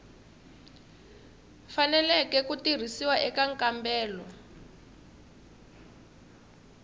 faneleke ku tirhisiwa eka nkambelo